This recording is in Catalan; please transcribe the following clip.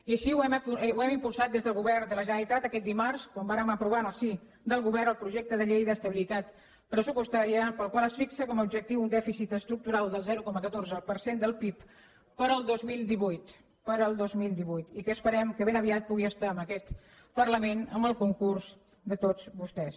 i així ho hem impulsat des del govern de la generalitat aquest dimarts quan vàrem aprovar en el si del govern el projecte de llei d’estabilitat pressupostària pel qual es fixa com a objectiu un dèficit estructural del zero coma catorze per cent del pib per al dos mil divuit per al dos mil divuit i que esperem que ben aviat pugui estar en aquest parlament amb el concurs de tots vostès